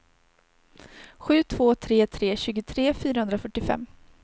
sju två tre tre tjugotre fyrahundrafyrtiofem